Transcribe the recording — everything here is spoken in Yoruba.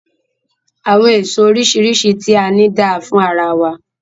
Àwọn èso oríṣiríṣi ti a ni da fún ara wa.